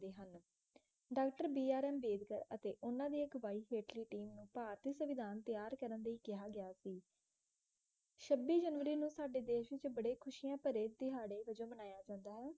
doctor B R Ambedkar ਅਤੇ ਉਨ੍ਹਾਂ ਦੀ ਅਗੁਆਈ ਹੇਠਲੀ team ਨੂੰ ਭਾਰਤੀ ਸਵਿਧਾਨ ਤਿਆਰ ਕਰਨ ਲਈ ਕਿਹਾ ਗਿਆ ਸੀ ਛੱਬੀ ਜਨਵਰੀ ਸਾਡੇ ਦੇਸ਼ ਵਿੱਚ ਬੜੇ ਖੁਸ਼ੀਆਂ ਭਰੇ ਦਿਹਾੜੇ ਵਜੋਂ ਮਨਾਇਆ ਜਾਂਦਾ ਹੈ